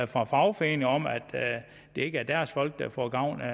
fra fagforeningerne om at det ikke er deres folk der får gavn af